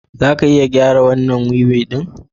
Za ka iya gyara wannan wili ɗin?